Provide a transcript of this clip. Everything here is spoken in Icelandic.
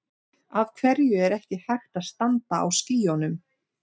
Af hverju er ekki hægt að standa á skýjunum?